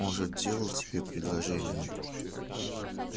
может делал тебе предложение